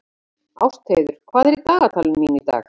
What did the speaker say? Ástheiður, hvað er í dagatalinu mínu í dag?